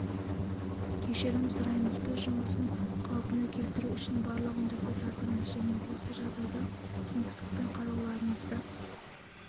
кешірім сұраймыз біз жұмысын қалпына келтіру үшін барлығын жасап жатырмыз және осы жағдайға түсіністікпен қарауларыңызды